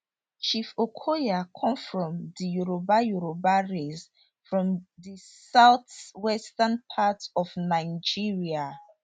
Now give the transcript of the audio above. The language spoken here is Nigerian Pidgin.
chief okoya come from di yoruba yoruba race from di southwestern part of nigeria